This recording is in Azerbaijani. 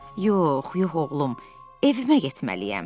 Yox, yox oğlum, evimə getməliyəm.